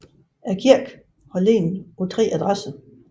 Kirken har ligget på tre adresser